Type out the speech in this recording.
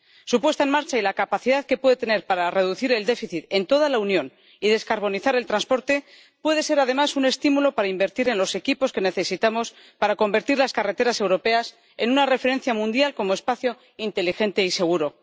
Su puesta en marcha y la capacidad que puede tener para reducir el déficit en toda la Unión y descarbonizar el transporte puede ser, además, un estímulo para invertir en los equipos que necesitamos para convertir las carreteras europeas en una referencia mundial como espacio inteligente y seguro.